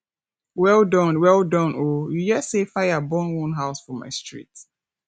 well done well done o you hear sey fire burn one house for my street